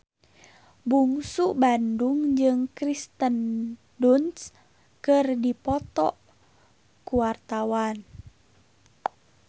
Bungsu Bandung jeung Kirsten Dunst keur dipoto ku wartawan